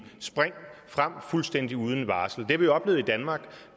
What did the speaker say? spring frem fuldstændig uden varsel har vi oplevet i danmark